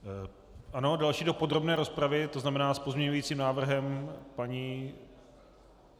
Ano, další do podrobné rozpravy, to znamená s pozměňovacím návrhem paní...